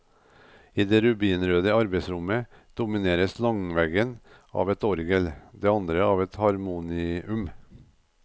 I det rubinrøde arbeidsrommet domineres langveggen av et orgel, det andre av et harmonium.